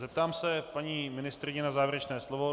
Zeptám se paní ministryně na závěrečné slovo.